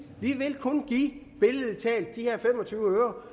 at vi billedlig talt give de her fem og tyve øre